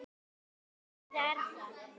Hvers virði er það?